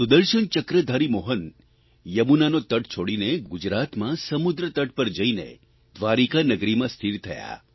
સુદર્શનચક્રધારી મોહન યમુનાનો તટ છોડીને ગુજરાતમાં સમુદ્રતટ પર જઇને દ્વારિકાનગરીમાં સ્થિર થયા